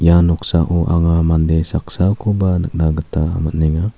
ia noksao anga mande saksakoba nikna gita man·enga.